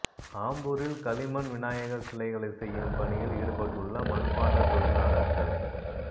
ஆம்பூரில் களிமண் விநாயகா் சிலைகளை செய்யும் பணியில் ஈடுபட்டுள்ள மண்பாண்டத் தொழிலாளா்கள்